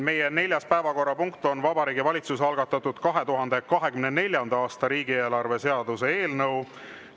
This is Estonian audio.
Meie neljas päevakorrapunkt on Vabariigi Valitsuse algatatud 2024. aasta riigieelarve seaduse eelnõu.